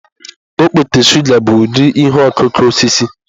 Okpete shụga bụ ụdị ihe ọkụkụ osisi.